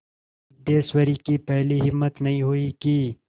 सिद्धेश्वरी की पहले हिम्मत नहीं हुई कि